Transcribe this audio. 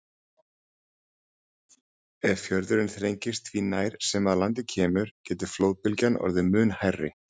Ef fjörðurinn þrengist því nær sem að landi kemur getur flóðbylgjan orðið mun hærri.